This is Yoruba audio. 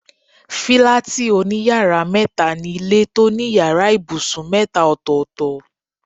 Fílátì òní yàrá métaa ni ilé tó ní yàrá ibùsùn métaa ọ̀tọ̀ọ̀tọ̀